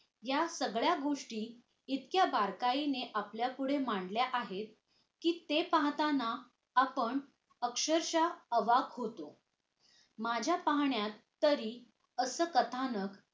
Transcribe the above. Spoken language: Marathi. या सगळ्या गोष्टी इतक्या बारकाईने आपल्यापुढे मांडल्या आहेत कि ते पाहताना आपण अक्षरश आवक होतो माझ्या पाहण्यात तरी असं कथानक